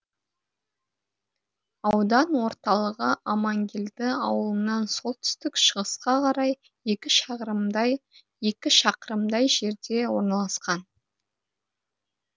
аудан ортылығы амангелді ауылынан солтүстік шығысқа қарай екі шақырымдай жерде орналасқан